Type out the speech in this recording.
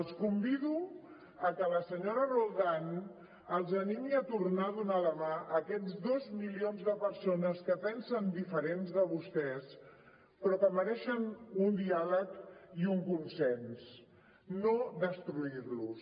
els convido que la senyora roldán els animi a tornar a donar la mà a aquests dos milions de persones que pensen diferent de vostès però que mereixen un diàleg i un consens no destruir los